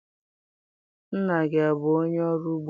Nna gị abụ onye ọrụ ugbo?